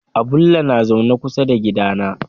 Abulle na zaune kusa da gidana.